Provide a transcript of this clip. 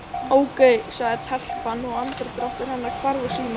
Ókei sagði telpan og andardráttur hennar hvarf úr símanum.